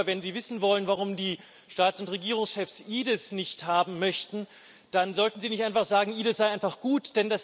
Herr Juncker, wenn Sie wissen wollen, warum die Staats und Regierungschefs EDIS nicht haben möchten, dann sollten Sie nicht einfach sagen EDIS sei einfach gut.